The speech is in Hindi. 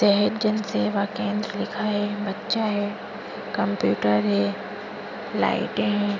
जन सेवा केंद्र लिखा है बच्चा है कंप्यूटर है लाइटे है।